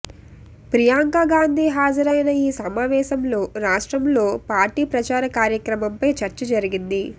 ప్రియాంక గాంధీ హాజరైన ఈ సమావేశంలో రాష్ట్రంలో పార్టీ ప్రచార కార్యక్రమంపై చర్చ జరిగింది